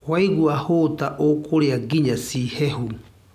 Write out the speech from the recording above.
Waigũa hũta ũkũrĩa nginya ci hehu.